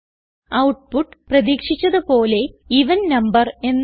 output പ്രതീക്ഷിച്ചത് പോലെ even number എന്നാണ്